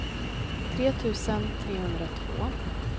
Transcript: tre tusen trehundratvå